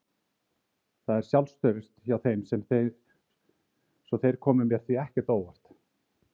Það er sjálfstraust hjá þeim svo þeir komu mér því ekkert á óvart.